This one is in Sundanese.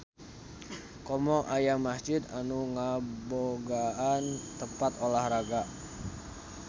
Komo aya masjid anu ngabogaan tempat olahraga.